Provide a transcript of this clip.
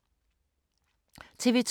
TV 2